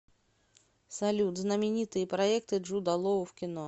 салют знаменитые проекты джуда лоу в кино